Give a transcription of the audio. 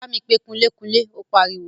Bámi pe kunlé-kunlé! Ó pariwo.